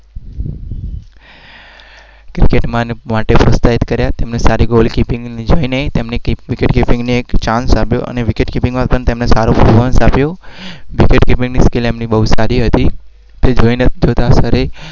goalkeeping